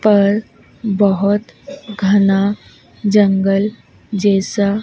पर बहोत घना जंगल जैसा--